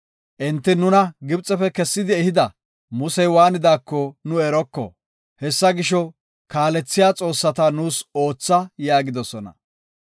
Enti, ‘Nuna Gibxefe kessidi ehida, Musey waanidaako nu eroko. Hessa gisho, kaalethiya xoossata nuus ootha’ yaagidosona.